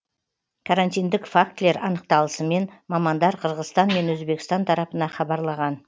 карантиндік фактілер анықталысымен мамандар қырғызстан мен өзбекстан тарапына хабарлаған